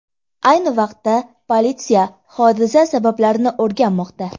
Ayni vaqtda politsiya hodisa sabablarini o‘rganmoqda.